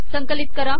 संकिलत करा